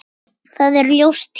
Það er ljóst hér.